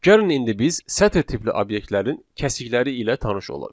Gəlin indi biz sətr tipli obyektlərin kəsikləri ilə tanış olaq.